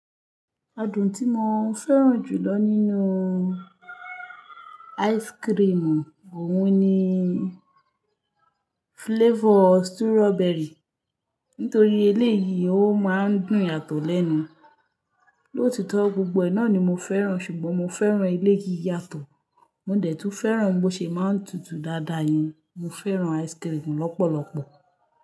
Adùn tí mo fẹ́ràn jùlọ nínú ice cream òun ni flavor strawberry. Nítorí eléyìí ó máa ń dùn yàtọ̀ lẹ́nu. Lóòtọ́ gbogbo ẹ náà ni mo fẹ́ràn ṣùgbọ́n mo fẹ́ràn eléyìí yàtọ̀. Mo dẹ tún fẹ́ràn bò ṣe maa n tutù dáadáa ni mo fẹ́ràn ice cream lọ́pọ̀lọpọ̀.